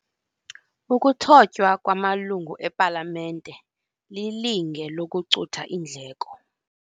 Ukuthotywa kwamalungu epalamente lilinge lokucutha iindleko.